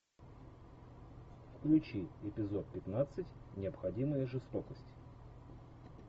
включи эпизод пятнадцать необходимая жестокость